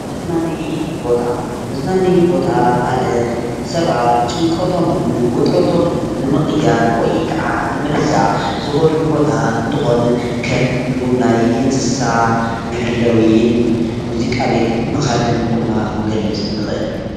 መዝናነይ ቦታ መዝናነይ ቦታ: ማለት ሰባት ጭንቀቶምን ውጥረቶምን ንምቅያር ወይ ከዓ ንምርሳዕ ዝከዱሉ ቦታ እንትኮን ከም ምጉብናይ እንስሳ መሐለዊን ሙዚቃ ቤትን ምካድን ድማ ክንገልፅ ንክእል፡፡